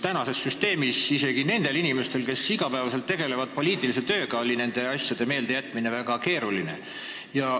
Praeguses süsteemis on isegi nendel inimestel, kes iga päev poliitilise tööga tegelevad, nende asjade meeldejätmine väga keeruline.